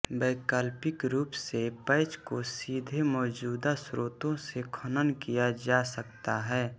वैकल्पिक रूप से पैच को सीधे मौजूदा स्रोतों से खनन किया जा सकता है